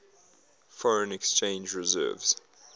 foreign exchange reserves